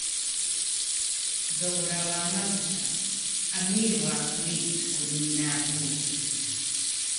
Thogora wa maguta. Amir wa Kuwait kunina mbunge